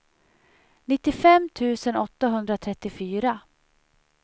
nittiofem tusen åttahundratrettiofyra